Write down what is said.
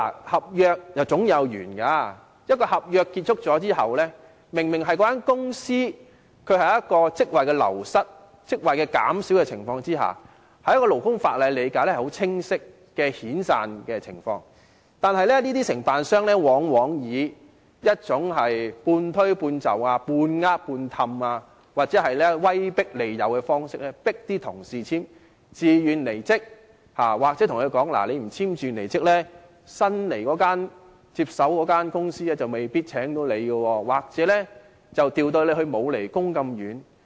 合約總有完結的時候，一份合約完結後，有關公司明顯流失或減少了一個職位，按勞工法例的理解，是很清晰的遣散情況，但這些承辦商往往以半推半就、"半呃半氹"或威迫利誘的方式，迫員工簽署自願離職信，或對他們說，如果不簽署離職信，新接手的公司未必會聘用他們，又或會把他們調職至偏遠地方。